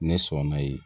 Ne sɔnna yen